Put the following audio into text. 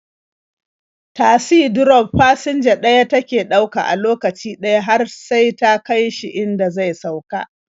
Tasi drof fasinja ɗaya take ɗauka a lokaci ɗaya har sai ta kai shi inda zai sauka.